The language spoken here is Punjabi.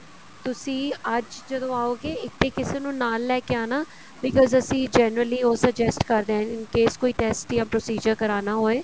ਤੁਸੀਂ ਅੱਜ ਜਦੋਂ ਆਓਗੇ ਇੱਥੇ ਕਿਸੇ ਨੂੰ ਨਾਲ ਲੈਕੇ ਆਣਾ because ਅਸੀਂ generally ਉਹ suggest ਕਰਦੇ ਹਾਂ case ਕੋਈ test ਜਾਂ procedure ਕਰਾਉਣਾ ਹੋਵੇ